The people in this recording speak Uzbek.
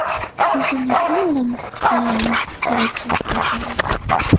Internetdan olamiz xabarlarimizga kerak bo‘lib qolsalar.